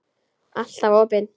Alltaf opin.